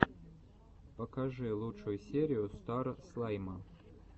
покажи лучшую серию стар слайма